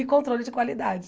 E controle de qualidade.